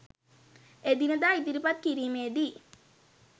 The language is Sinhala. එදිනෙදා ඉදිරිපත් කිරීමේදී